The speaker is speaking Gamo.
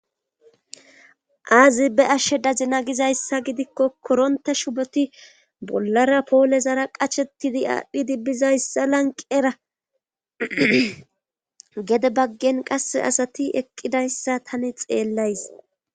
Aazibe ashshe dazina gizayssa gidikko koronte shuboti bollara poole zara qachettidi aadhdhidi bizayssa lanqera gede baggen qasse asati eqqidayssa tani xeellays